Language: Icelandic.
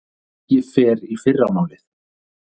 Ég fer í fyrramálið.